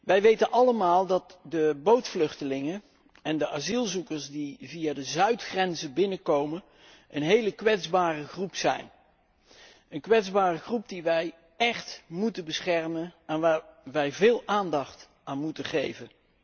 Wij weten allemaal dat de bootvluchtelingen en de asielzoekers die via de zuidgrenzen binnenkomen een hele kwetsbare groep zijn, een kwetsbare groep die wij echt moeten beschermen en waar wij veel aandacht aan moeten geven.